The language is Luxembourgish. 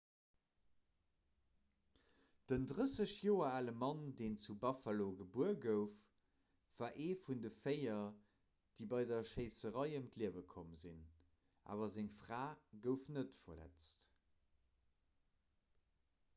den 30 joer ale mann deen zu buffalo gebuer gouf war ee vun de véier déi bei der schéisserei ëm d'liewe komm sinn awer seng fra gouf net verletzt